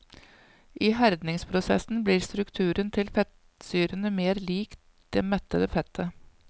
I herdingsprosessen blir strukturen til fettsyrene mer lik det mettede fettet.